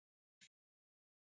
Hvað var var það?